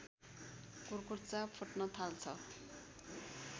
कुर्कुच्चा फुट्न थाल्छ